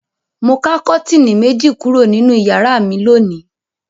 Mo ká kọ́tíínì méjì kúrò nínú ìyàrá mi lónìí.